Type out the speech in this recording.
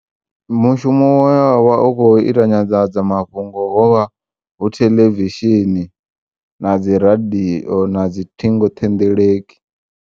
Mushumo we wavha u khou ita nyanḓadza mafhungo hovha hu theḽevishini na dzi radio nadzi ṱhingoṱhendeleki.